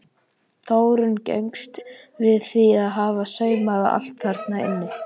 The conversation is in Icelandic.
Þórunn gengst við því að hafa saumað allt þarna inni.